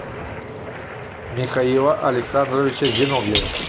михаила александровича зиновьева